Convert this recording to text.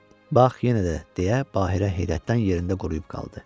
Bax, yenə də, deyə Bahirə heyrətdən yerində quruyub qaldı.